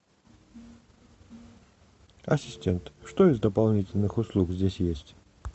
ассистент что из дополнительных услуг здесь есть